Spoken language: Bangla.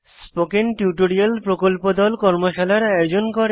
স্পোকেন টিউটোরিয়াল প্রকল্প দল কর্মশালার আয়োজন করে